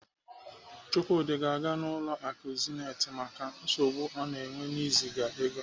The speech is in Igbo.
Chukwudi ga-aga ụlọ akụ Zenith maka nsogbu ọ na-enwe n'iziga ego.